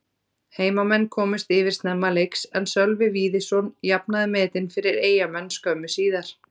Heimamenn komust yfir snemma leiks en Sölvi Víðisson jafnaði metin fyrir Eyjamenn skömmu síðar.